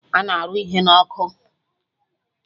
Ana arụ ihe n'ọkụ